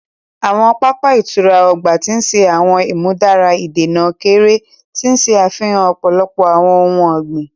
Awọn papa ìtura ọgbà ti ṣe awọn imudara ìdènà keere, ti n ṣe afihan ọpọlọpọ awọn ohùn ọgbin.